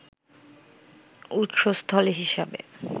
উৎসস্থল হিসাবে